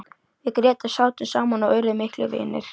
Við Grétar sátum saman og urðum miklir vinir.